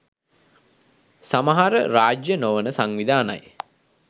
සමහර රාජ්‍ය නොවන සංවිධානයි